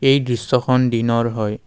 এই দৃশ্যখন দিনৰ হয়।